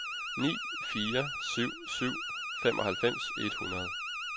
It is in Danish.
ni fire syv syv femoghalvfems et hundrede